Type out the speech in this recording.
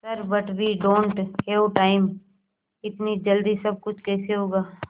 sir but we don't have time इतनी जल्दी सब कुछ कैसे होगा